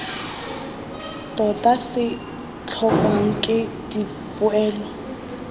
tota se tlhokwang ke dipoelo